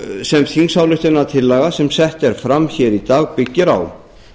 sem þingsályktunartillaga sem sett er fram í dag byggir á